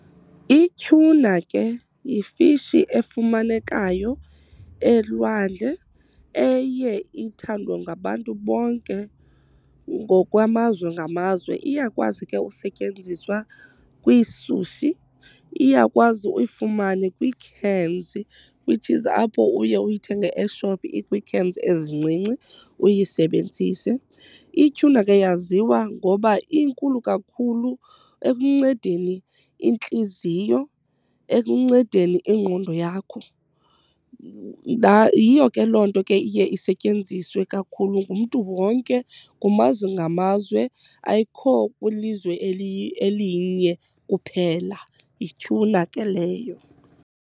Ityhuna ke yifishi efumanekayo elwandle eye ithandwe ngabantu bonke ngokwamazwe ngamazwe. Iyakwazi ke usetyenziswa kwiisushi, iyakwazi uyifumane kwii-cans which is apho uye uyithenge eshophu ikwii-cans ezincinci uyisebenzise. Ityhuna ke yaziwa ngoba inkulu kakhulu ekuncedeni intliziyo, ekuncedeni ingqondo yakho. Yiyo ke loo nto ke iye isetyenziswe kakhulu ngumntu wonke kumazwe ngamazwe, ayikho kwilizwe elinye kuphela. Yityhuna ke leyo.